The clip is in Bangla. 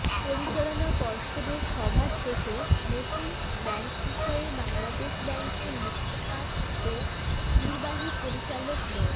পরিচালনা পর্ষদের সভা শেষে নতুন ব্যাংক বিষয়ে বাংলাদেশ ব্যাংকের মুখপাত্র ও নির্বাহী পরিচালক মো